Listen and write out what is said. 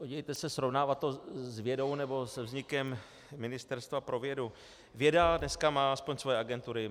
Podívejte se, srovnávat to s vědou nebo se vznikem ministerstva pro vědu - věda dneska má aspoň svoje agentury.